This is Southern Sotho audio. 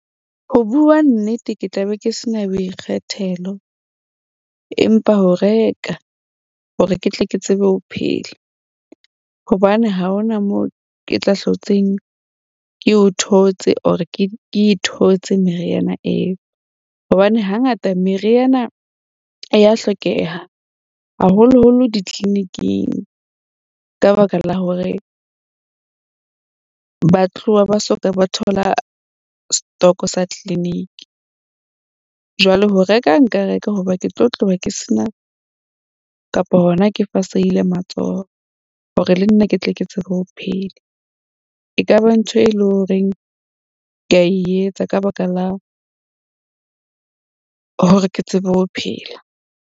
Ho bua nnete, ke tla be ke se na boikgethelo empa ho reka, hore ke tle ke tsebe ho phela hobane ha ho na moo ke tla hlotseng ke o thotse or ke e thotse meriana eo. Hobane hangata meriana ya hlokeha haholoholo di-clinic-ing, ka baka la hore ba tloha ba soka ba thola stoko sa clinic. Jwale ho reka nka reka hoba ke tlo tloha ke sena kapa hona ke fasehile matsoho hore le nna ke tle ke tsebe ho phela. E ka ba ntho e leng horeng ke a etsa ka baka la hore ke tsebe ho phela.